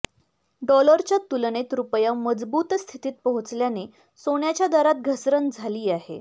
डॉलरच्या तुलनेत रुपया मजबूत स्थितीत पोहोचल्याने सोन्याच्या दरात घसरण झाली आहे